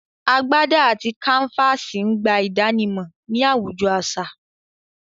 Agbádà àti kàǹfàsì n gbà ìdànímọ̀ ní awùjọ̀ aṣa